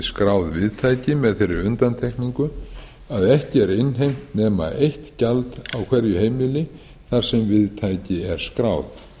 skráð viðtæki með þeirri undantekningu að ekki er innheimt nema eitt gjald á hverju heimili þar sem viðtæki er skráð